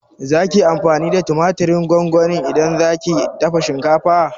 Zaki yi amfani da tumatirin gongoni idan zaki dafa shinkafa?